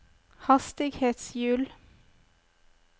hastighetshjul